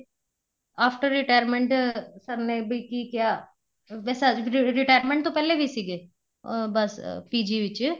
after retirement sir ਨੇ ਬੀ ਕੀ ਕਿਹਾ retirement ਤੋਂ ਪਹਿਲੇ ਵੀ ਸੀਗੇ ਅਹ ਬੱਸ PG ਵਿੱਚ